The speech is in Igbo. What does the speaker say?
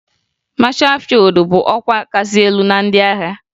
Mashaa fịyụd bụ ọkwa kasị elu na ndị agha